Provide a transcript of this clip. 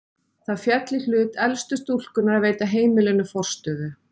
Það féll í hlut elstu stúlkunnar að veita heimilinu forstöðu.